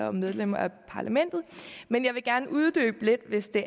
og medlemmer af parlamentet men jeg vil gerne uddybe det lidt hvis det